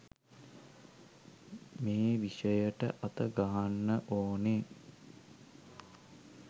මේ විෂයට අත ගහන්න ඕනේ.